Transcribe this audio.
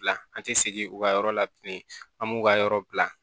Dilan an tɛ segin u ka yɔrɔ la bilen an b'u ka yɔrɔ bila